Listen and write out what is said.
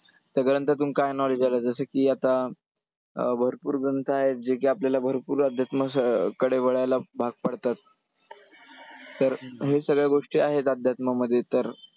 सगळ्यांपासून काय knowledge आलं जसं की आता अं भरपूर ग्रंथ आहेत जे की आपल्याला भरपूर अध्यात्म कडे वळायला भाग पाडतात. तर हे सगळ्या गोष्टी आहेत अध्यात्मामध्ये तर